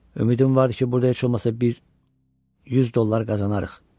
Ümidim vardı ki, burda heç olmasa bir 100 dollar qazanarıq.